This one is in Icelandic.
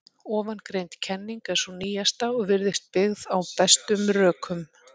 Ofangreind kenning er sú nýjasta og virðist byggð á bestum rökum.